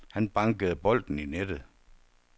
Han bankede bolden i nettet.